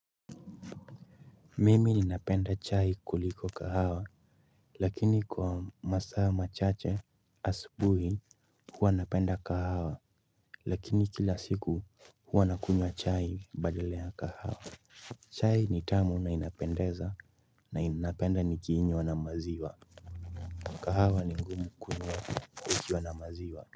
Mimi ninapenda chai kuliko kahawa lakini kwa masaa machache asubuhi huwa napenda kahawa lakini kila siku huwa nakunywa chai badala ya kahawa chai ni tamu na inapendeza na napenda nikiinywa na maziwa kahawa ni ngumu kunywa ukiwa na maziwa.